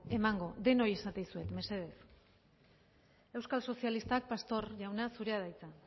emango denoi esaten dizuet mesedez euskal sozialistak pastor jauna zurea da hitza